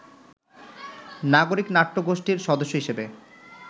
নাগরিক নাট্যগোষ্ঠির সদস্য হিসাবে